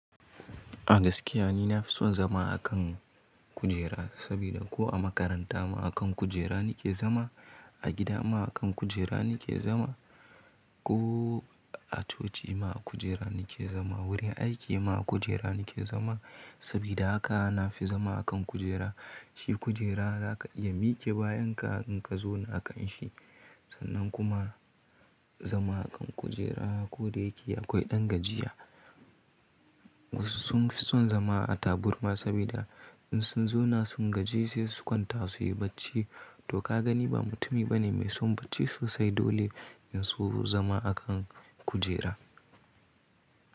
A gaskiya ni na fi son zama a kan kujera, sabida ko a makaranta ma akan kujera nake zama, a gida ma kan kujera nake zama, ko a coci ma a kujera nake zama, wurin aiki ma a kujera nake zama. Sabida haka na fi zama a kan kujera. Shi kujera za ka iya miƙi bayan ka, in ka zauna kan shi. Sannan kuma zama a kan kujera, ko da yake akwai ɗan gajiya. Wasu sun fi son zama a taburma, sabida in sun zauna sun gaji sai su kwanta su yi bacci. To ka gani ba mutumi bane mai son bacci sosai dole in so zama a kan kujera.